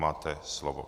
Máte slovo.